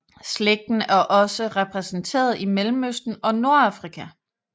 Slægten er også repræsenteret i Mellemøsten og Nordafrika